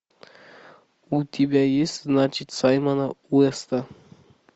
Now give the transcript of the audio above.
у тебя есть значит саймона уэста